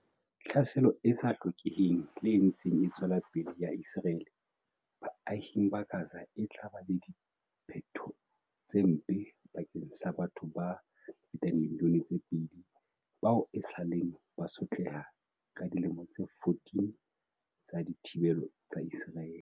Tlhaselo e sa hlokeheng le e ntseng e tswela pele ya Ise raele baahing ba Gaza e tla ba le diphetho tse mpe bakeng sa batho ba fetang dimili yone tse pedi bao esaleng ba sotleha ka dilemo tse 14 tsa dithibelo tsa Iseraele.